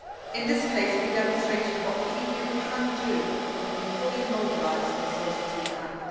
Lavrov. In this case, we demonstrated what the EU can do when we fully mobilise the resources